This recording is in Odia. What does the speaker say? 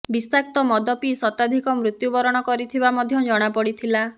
ବିଷାକ୍ତ ମଦ ପିଇ ଶତାଧିକ ମୃତ୍ୟୁବରଣ କରିଥିବା ମଧ୍ୟ ଜଣାପଡ଼ିଥିଲା